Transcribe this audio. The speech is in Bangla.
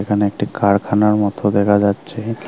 এখানে একটি কারখানার মতো দেখা যাচ্ছে।